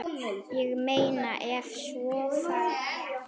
Ég meina ef svo færi.